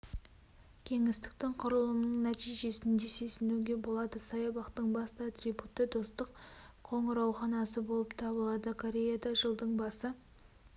кеңістіктің құрылымының нәтижесінде сезінуге болады саябақтың басты атрибуты достық қоңырауханасы болып табылады кореяда жылдың басы